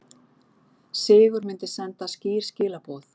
Sigur myndi senda skýr skilaboð